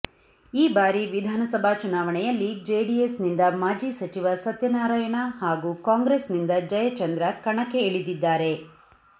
ಈ ಬಾರಿ ವಿಧಾನಸಭಾ ಚುನಾವಣೆಯಲ್ಲಿ ಜೆಡಿಎಸ್ ನಿಂದ ಮಾಜಿ ಸಚಿವ ಸತ್ಯನಾರಾಯಣ ಹಾಗೂ ಕಾಂಗ್ರೆಸ್ ನಿಂದ ಜಯಚಂದ್ರ ಕಣಕ್ಕೆ ಇಳಿದಿದ್ದಾರೆ